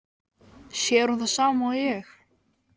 Sér hún það sama og ég?